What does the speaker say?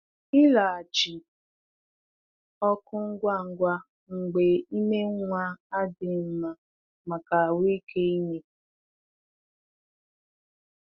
Ịlaghachi ọkụ ngwa ngwa mgbe ime nwa adịghị nma maka ahụ́ike ime.